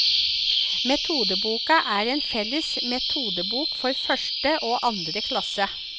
Metodeboka er en felles metodebok for første og andre klasse.